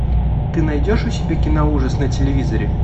ты найдешь у себя кино ужас на телевизоре